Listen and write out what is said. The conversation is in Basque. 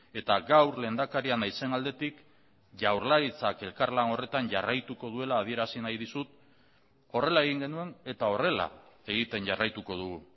eta gaur lehendakaria naizen aldetik jaurlaritzak elkarlan horretan jarraituko duela adierazi nahi dizut horrela egin genuen eta horrela egiten jarraituko dugu